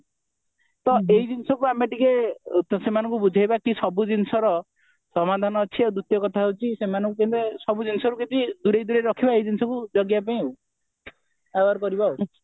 ତ ଏଇ ଜିନିଷକୁ ଆମେ ଟିକେ ସେମାନଙ୍କୁ ବୁଝେଇବା କି ସବୁ ଜିନିଷର ସମାଧାନ ଅଛି ଆଉ ଦ୍ଵିତୀୟ କଥା ହେଉଛି ସେମାନଙ୍କୁ ସବୁ ଜିନିଷ କିଛି ଦୂରେଇ ଦୂରେଇ ରଖିବା ଏଇ ଜିନିଷ କୁ ଜଗିବା ପାଇଁ ଆଉ aware କରିବା